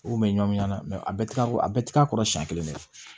U kun bɛ ɲɔn na mɛ a bɛɛ tɛ a bɛɛ tɛ k'a kɔrɔ siɲɛ kelen